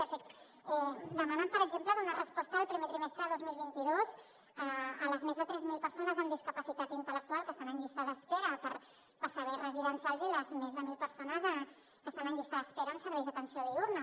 de fet demanen per exemple donar resposta el primer trimestre de dos mil vint dos a les més de tres mil persones amb discapacitat intel·lectual que estan en llista d’espera per serveis residencials i a les més de mil persones que estan en llista d’espera en serveis d’atenció diürna